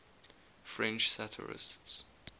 french satirists